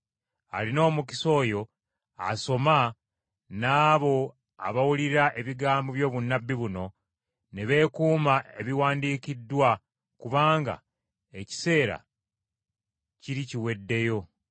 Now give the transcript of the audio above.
Alina omukisa oyo asoma n’abo abawulira ebigambo by’obunnabbi buno, ne beekuuma ebiwandiikiddwa, kubanga ekiseera kiri kiweddeyo.